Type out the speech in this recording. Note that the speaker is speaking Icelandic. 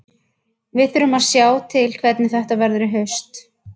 Við þurfum að sjá til hvernig þetta verður í haust.